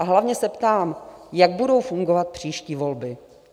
A hlavně se ptám, jak budou fungovat příští volby?